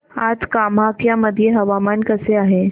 आज कामाख्या मध्ये हवामान कसे आहे